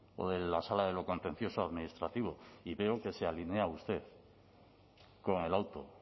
o de la sala de lo contencioso administrativo y veo que se alinea usted con el auto